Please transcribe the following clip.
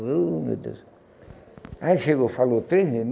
Oh meu Deus, aí ele chegou, falou três vezes.